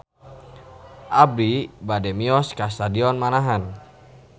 Abi bade mios ka Stadion Manahan